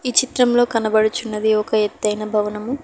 ఈ చిత్రంలో కనబడుచున్నది ఒక ఎత్తైన భవనము.